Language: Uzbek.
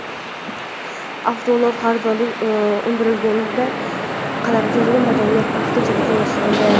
Avtoulov qarzdorlik undirilgunga qadar jarima maydoniga vaqtinchalik joylashtirildi.